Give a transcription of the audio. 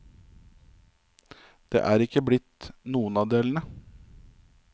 Det er ikke blitt noen av delene.